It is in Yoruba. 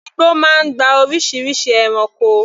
Igbó máa ń gba oríṣiríṣi ẹranko.